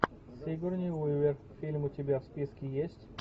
сигурни уивер фильм у тебя в списке есть